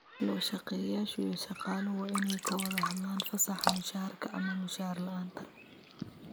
Loo-shaqeeyayaasha iyo shaqaaluhu waa inay ka wada hadlaan fasaxa mushaharka ama mushahar la'aanta.